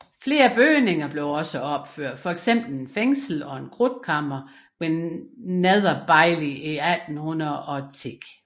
Flere nye bygninger blev også opført fx et fængsel og et krudtkammer ved Nether Bailey i 1810